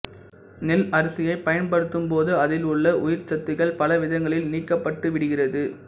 நெல் அரிசியை பயன்படுத்தும் போது அதில் உள்ள உயிர் சத்துக்கள் பலவிதங்களில் நீக்கப்பட்டுவிடுகிறது